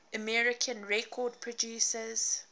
american record producers